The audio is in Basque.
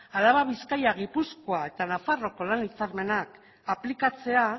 araba bizkaia gipuzkoa eta nafarroako lan hitzarmenak aplikatzea